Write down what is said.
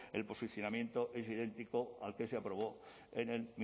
el posicionamiento es idéntico al que se aprobó en el